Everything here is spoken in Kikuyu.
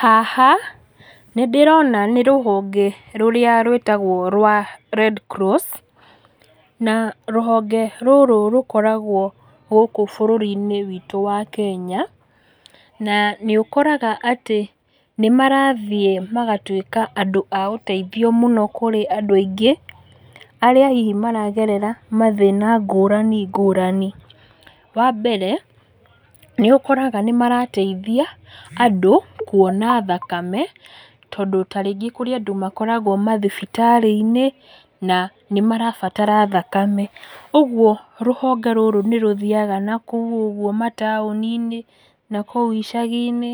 Haha, nĩndĩrona nĩ rũhonge rũrĩa rwĩtagwo rwa Red Cross, na rũhonge rũrũ rũkoragwo gũkũ bũrũri-inĩ witũ wa kenya, na nĩũkoraga tĩ nĩmarathiĩ magatwĩka andũ a ũteithio mũno kũrĩ andũ aingĩ, arĩa hihi maragerera mathína ngũrani ngũrani. Wambere, nĩũkoraga nĩmarateithia andũ kuona thakame, tondũ ta rĩngĩ kũrĩ andũ makoragwo mathibitarĩ-inĩ, na nĩmarabatara thakame, ũguo rũhonge rũrũ nĩrũthiaga nakũu ũguo mataũni-inĩ nakuũ icagi-inĩ,